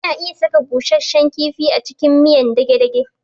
Ana iya saka busashshen kifi a cikin miyar dage-dage